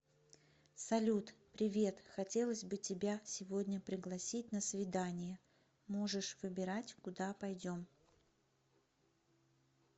салют привет хотелось бы тебя сегодня пригласить на свидание можешь выбирать куда пойдем